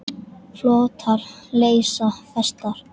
Flotar leysa festar.